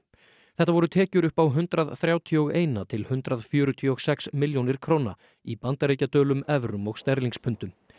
þetta voru tekjur upp á hundrað þrjátíu og eitt til hundrað fjörutíu og sex milljónir króna í bandaríkjadölum evrum og sterlingspundum